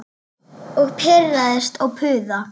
Og pirrast og puða.